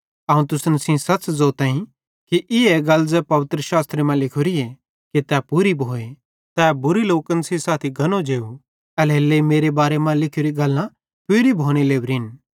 अवं तुसन सेइं ज़ोताईं कि ई गल्ले ज़ै पवित्रसास्त्रे मां लिखोरीए कि तै पूरी भोए तै बुरे लोकन सेइं साथी गनो जेव एल्हेरेलेइ मेरे बारे मां लिखोरी गल्लां पूरी भोने लोरिन